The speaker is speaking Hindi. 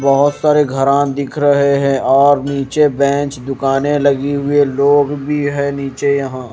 बहुत सारे घरान दिख रहे हैं और नीचे बेंच दुकानें लगी हुई है लोग भी है नीचे यहां।